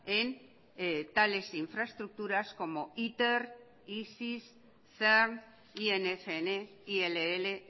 en tales infraestructuras como iter isis cern ingn ill